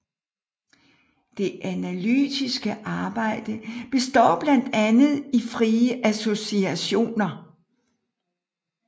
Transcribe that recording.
Det analytiske arbejde består blandt andet i frie associationer